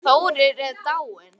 Hann Þórir er dáinn